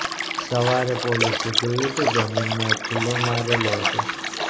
સવારે પોલીસે જોયું કે જમીનમાં એક ખિલ્લો મારેલો હતો